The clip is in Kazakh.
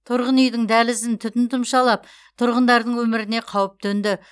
тұрғын үйдің дәлізін түтін тұмшалап тұрғындардың өміріне қауіп төнді